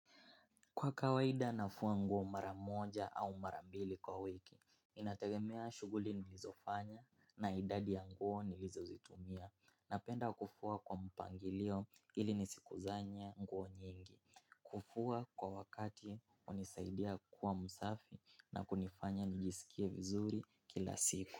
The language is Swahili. Kwa kawaida nafua nguo mara moja au mara mbili kwa wiki, inategemea shughuli nilizofanya na idadi ya nguo nilizozitumia. Napenda kufua kwa mpangilio ili nisikusanye nguo nyingi, kufua kwa wakati unisaidia kuwa msafi na kunifanya nijisikie vizuri kila siku.